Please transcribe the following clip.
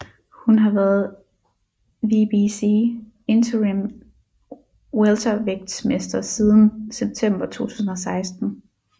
Hun har været WBC Interim Weltervægtsmester siden september 2016